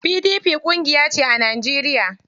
PDP ƙungiyace a Najeriya.